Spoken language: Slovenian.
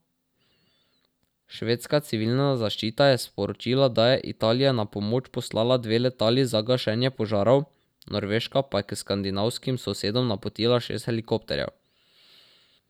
Švedska civilna zaščita je sporočila, da je Italija na pomoč poslala dve letali za gašenje požarov, Norveška pa je k skandinavskim sosedom napotila šest helikopterjev.